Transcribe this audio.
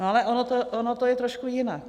No, ale ono to je trošku jinak.